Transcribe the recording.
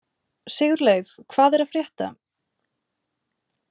Sigurleif, hvað er að frétta?